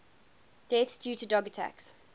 deaths due to dog attacks